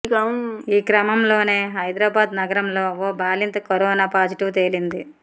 ఈ క్రమంలోనే హైదరాబాద్ నగరంలో ఓ బాలింతకు కరోనా పాజిటివ్ తేలింది